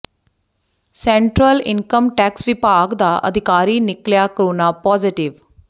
central income tax ਵਿਭਾਗ ਦਾ ਅਧਿਕਾਰੀ ਨਿਕਲਿਆ ਕੋਰੋਨਾ ਪਾਜ਼ੇਟਿਵ